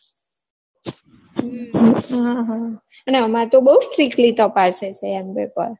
હમ અમારે તો બૌ strictly તપાસે છે એમ paper